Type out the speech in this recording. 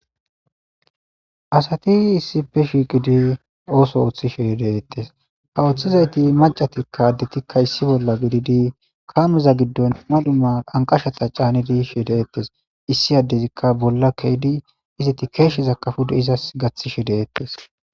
Asati issipe shiiqidi ooso ooththishideettes ha ooththizayti macatikka addetikka issi bolla gididi kaameza giddon mal'uma anqashata caanedi shideettes issi addezikka bolla keydi izeti keeshsheza kafude izas gaththi she deettes